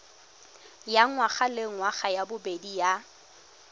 ya ngwagalengwaga ya bobedi ya